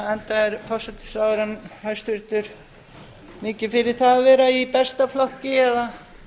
enda er hæstvirtur forsætisráðherra mikið fyrir það að vera í besta flokki eða